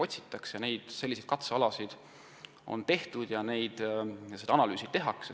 Rajatud on katsealasid ja tehakse analüüse.